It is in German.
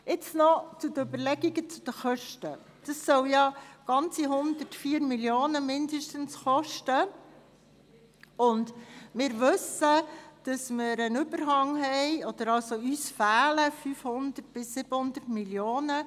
Jetzt noch zu den Kosten: Die Kosten belaufen sich auf mindestens 104 Mio. Franken, uns fehlen aber 500 bis 700 Mio. Franken.